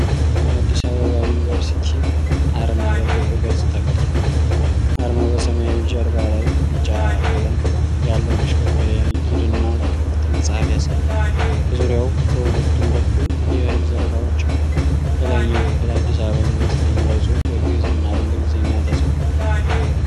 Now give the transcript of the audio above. የአዲስ አበባ ዩኒቨርሲቲን ዓርማ በክብ ቅርጽ ተቀርጿል። ዓርማው በሰማያዊ ጀርባ ላይ ቢጫ ቀለም ያለው መሽከርከሪያ (ጊር) እና ክፍት መጽሐፍ ያሳያል። በዙሪያው በሁለቱም በኩል የእህል ዘለላዎች አሉ። በላይኛው ክፍል "አዲስ አበባ ዩኒቨርሲቲ"የሚለው ጽሑፍ በግዕዝ እና በእንግሊዘኛ ተጽፏል።